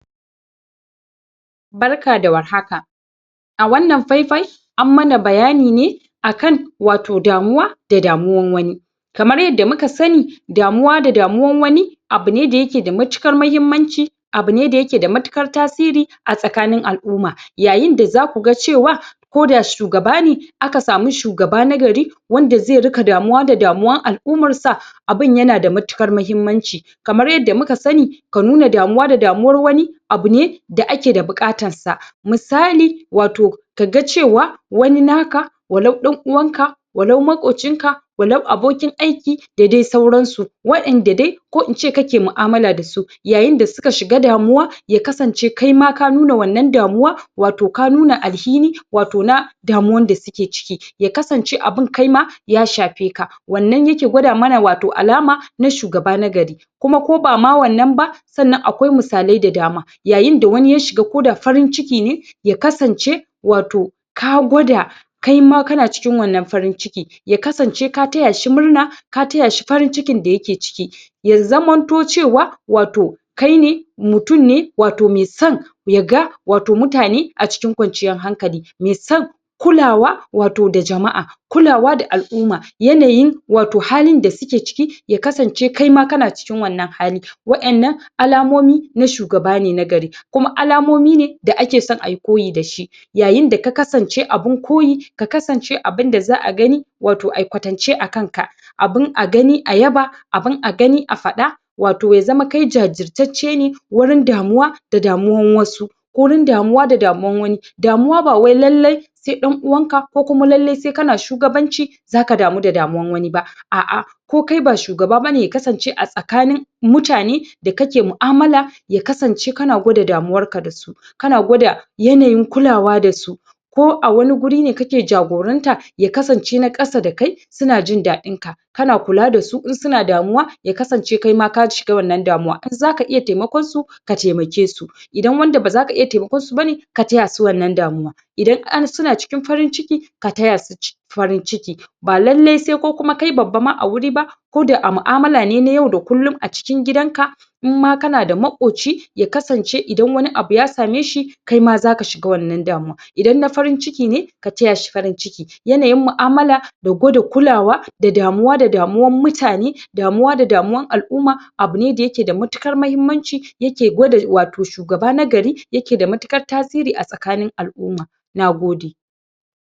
labarin amai da gudawa amai da gudawa wani cuta ne dake kamuwa da ɗan Adam gurin cin abinci marar kyau ko marar lafiya wanda ze sa mutum ya kasance yana bashi wahala kasancewar samun abinci cikakke wanda ze ƙara ma mutum ƙarfi gwiwa a jiki da samun sau amai da gudawa de wani cuta ne da ke gigita mutum yayin kamuwa da shi rashin kula da abinci na kawo amai da gudawa rashin kulawa da gurin muhalli tsabtan muhalli na kawo na kawo amai da gudawa yanda zamu tsab yanda zamu rage kamuwa da gudawa cin abinci me kyau, tsabtace gurin abinci, kasancewa da lafiyar abincin da zamu ci da kasancewa da gurin da muke kwana da ruwan sha da zamu tsabtan su domin rage kamuwa amai da amai da gudawa amai da gudawa ne wani cuta ne dake sa mutum ya gigice ya rame ya rasa ruwa a jikin shi yawan shan ruwa me kyau na rage kamuwa da amai da gudawa tantance gurin kwana gurin tsabtace gurin muhalli domin rage kamuwa da amai da gudawa samun lafiyar abinci wurin kwana wurin da zamu zauna domin tsabtace tsabtace gurin kwana samun ƙwarin gwiwa ta hanyar tsabtace muhalli kwanciya a guri me kyau da tsabtar muhalli dan kar mu kamu da cutan samun ƙwarin gwiwa domin tsabtace gurin gurin dan kar mu kamu da cuta amai da gudawa kasancewar mu muna tare